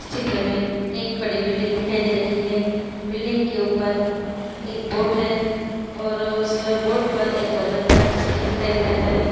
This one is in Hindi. चित्र में एक बड़ी बिल्डिंग दिखाई दे रही है| बिल्डिंग के ऊपर एक बोर्ड है और उसे बोर्ड पर एक औरत का चित्र दिखाई दे रहा है।